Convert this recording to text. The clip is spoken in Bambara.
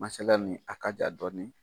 Masala nin a ka jan dɔɔni.